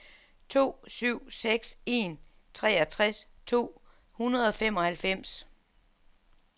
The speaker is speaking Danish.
to syv seks en treogtres to hundrede og femoghalvfems